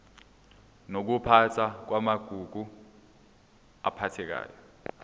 nokuphathwa kwamagugu aphathekayo